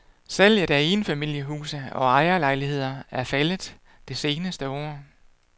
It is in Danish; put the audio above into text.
Salget af enfamiliehuse og ejerlejligheder er faldet det seneste år.